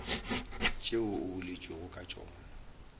tšeo go boletšwego ka tšona